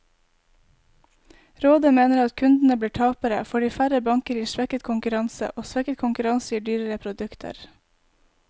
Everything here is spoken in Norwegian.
Rådet mener at kundene blir tapere, fordi færre banker gir svekket konkurranse, og svekket konkurranse gir dyrere produkter.